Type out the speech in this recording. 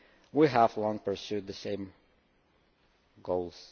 We have long pursued the same goals.